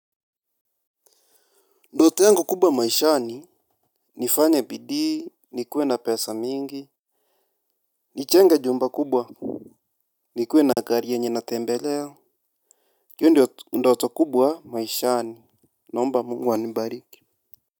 Ndoto yango kubwa maishani nifanye bidii, nikuwe na pesa mingi nijenga jumba kubwa nikuwe na gari yenye natembele hio ndio ndoto kubwa maishani naomba mungu anibariki.